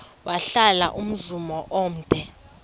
wahlala umzum omde